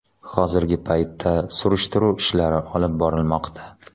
Hozirgi paytda surishtiruv ishlari olib borilmoqda.